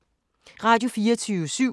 Radio24syv